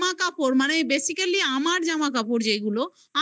জামা কাপড় মানে basically আমার জামা কাপড় যেগুলো